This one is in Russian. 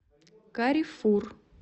каррефур